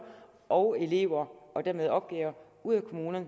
og elever og dermed opgaver ud af kommunerne